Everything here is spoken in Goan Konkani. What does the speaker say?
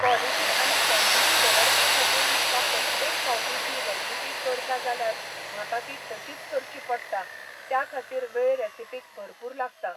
कॉलिटी आनी कॉनटिटी दवरपा खातीर म्हाका प्रत्येक फावटी ती रेसिपी करता जाल्यार म्हाका ती तशीच करची पडटा, त्या खातीर वेळ रेसिपीक भरपूर लागता.